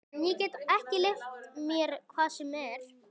En ég get ekki leyft mér hvað sem er!